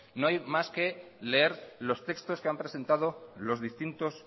no hay más que leer los textos que han presentado los distintos